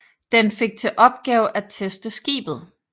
Den fik til opgave at teste skibet